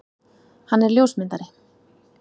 Hann er ljósmyndari.